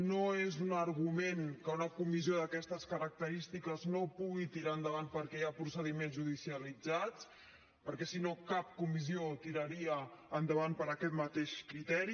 no és un argument que una comissió d’aquestes característiques no pugui tirar endavant perquè hi ha procediments judicialitzats perquè si no cap comissió tiraria endavant per aquest mateix criteri